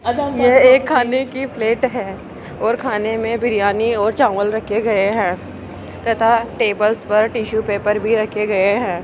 यह एक खाने की प्लेट है और खाने में बिरयानी और चावल रखे गए हैं तथा टेबल्स पर टिशू पेपर भी रखे गए हैं।